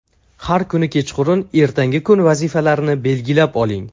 Har kuni kechqurun ertangi kun vazifalarini belgilab oling.